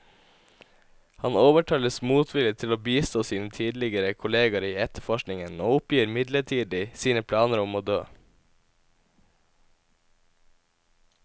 Han overtales motvillig til å bistå sine tidligere kolleger i etterforskningen, og oppgir midlertidig sine planer om å dø.